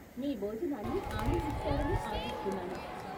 మీ భోజనాన్ని ఆనందిస్తారని ఆశిస్తున్నాను.